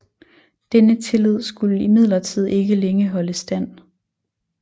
Denne tillid skulde imidlertid ikke længe holde stand